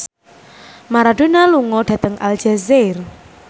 Maradona lunga dhateng Aljazair